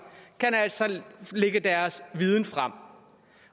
altså kan lægge deres viden frem